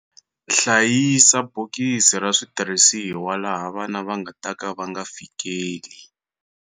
Hlayisa bokisi ra switirhisiwa laha vana va nga ta ka va nga fikeli.